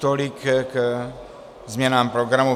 Tolik k změnám programu.